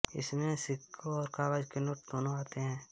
इसमें सिक्के और काग़ज़ के नोट दोनों आते हैं